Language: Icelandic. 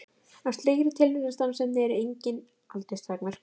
Á slíkri tilraunastarfsemi eru engin aldursmörk.